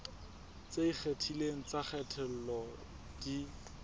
tse ikgethileng tsa kgatello di